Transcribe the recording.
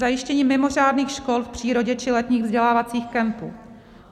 zajištění mimořádných škol v přírodě či letních vzdělávacích kempů;